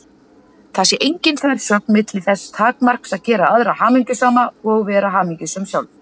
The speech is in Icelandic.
Það sé engin þversögn milli þess takmarks að gera aðra hamingjusama og vera hamingjusöm sjálf.